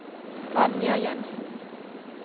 Vanja Jensen